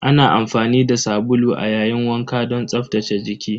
Ana amfani da sabulu a yayin wanka don tsaftace jiki.